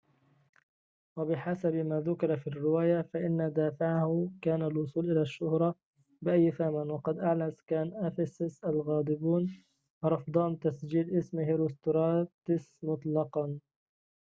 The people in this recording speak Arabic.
وبحسب ما ذكر في الرواية فإن دافعه كان الوصول إلى الشّهرة بأيّ ثمن وقد أعلن سكان أفسس الغاضبون رفضهم تسجيل اسم هيروستراتس مطلقًا